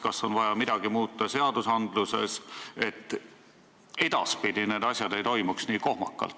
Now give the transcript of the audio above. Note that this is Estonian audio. Kas on vaja midagi seadustes muuta, et edaspidi need asjad nii kohmakalt ei toimuks?